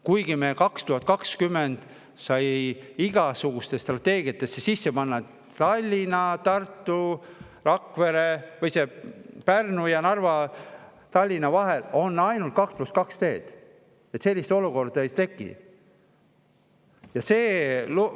Kuigi aastal 2020 sai igasugustesse strateegiatesse sisse kirjutatud, et Tallinna, Tartu, Rakvere, Narva ja Tallinna vahel on ainult 2 + 2 teed, et sellist olukorda ei tekiks.